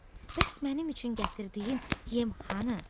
bəs mənim üçün gətirdiyin yem hanı?